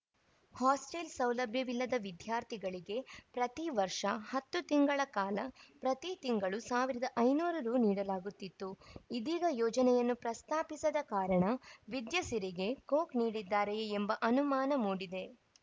hostel ಸೌಲಭ್ಯವಿಲ್ಲದ ವಿದ್ಯಾರ್ಥಿಗಳಿಗೆ ಪ್ರತಿ ವರ್ಷ ಹತ್ತು ತಿಂಗಳ ಕಾಲ ಪ್ರತಿ ತಿಂಗಳು ಸಾವಿರದ ಐನೂರು ರು ನೀಡಲಾಗುತ್ತಿತ್ತು ಇದೀಗ ಯೋಜನೆಯನ್ನು ಪ್ರಸ್ತಾಪಿಸದ ಕಾರಣ ವಿದ್ಯಾಸಿರಿಗೆ ಕೊಕ್‌ ನೀಡಿದ್ದಾರೆಯೇ ಎಂಬ ಅನುಮಾನ ಮೂಡಿದೆ